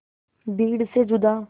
भीड़ से जुदा